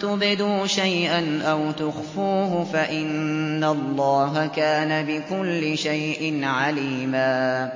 تُبْدُوا شَيْئًا أَوْ تُخْفُوهُ فَإِنَّ اللَّهَ كَانَ بِكُلِّ شَيْءٍ عَلِيمًا